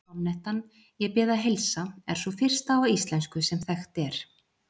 Sonnettan Ég bið að heilsa er sú fyrsta á íslensku sem þekkt er.